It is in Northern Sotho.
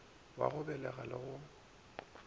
wa go begela le go